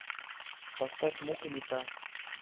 поставь мукка не та